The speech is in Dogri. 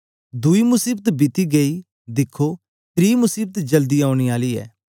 दुई मसीबत बीती गई दिखो त्री मसीबत जल्दी औने आली ऐ